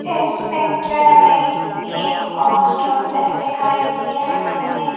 इस पिक्चर में एक पोस्ट ऑफिस दिखाई दे रहा है।